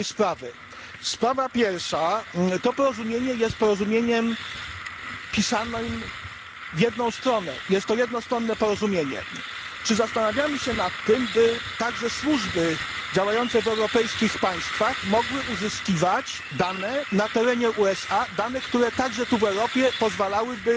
Sprawa pierwsza to porozumienie jest porozumieniem pisanym w jedną stronę, jest to jednostronne porozumienie. Czy zastanawiamy się nad tym, by także służby działające w europejskich państwach mogły uzyskiwać dane na terenie USA, które także tu w Europie pozwalałyby